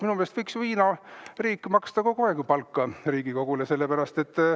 Minu meelest võiks ju Hiina riik maksta kogu aeg palka Riigikogule.